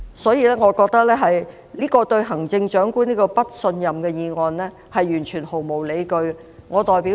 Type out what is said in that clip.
所以，我認為這項"對行政長官投不信任票"議案毫無理據。